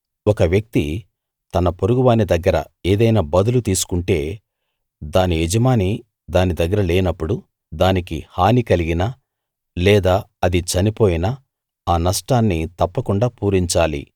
ఒక వ్యక్తి తన పొరుగువాని దగ్గర ఏదైనా బదులు తీసుకుంటే దాని యజమాని దాని దగ్గర లేనప్పుడు దానికి హాని కలిగినా లేదా అది చనిపోయినా ఆ నష్టాన్ని తప్పకుండా పూరించాలి